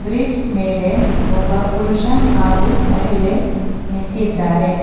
Beach ಮೇಲೆ ಒಬ್ಬ ಪುರುಷ ಹಾಗು ಮಹಿಳೆ ನಿಂತಿದ್ದಾರೆ.